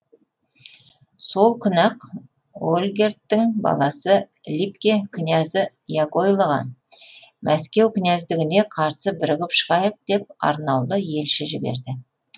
сол күні ақ ольгердтің баласы либке князі яғойлоға мәскеу князьдігіне қарсы бірігіп шығайық деп арнаулы елшілер жіберді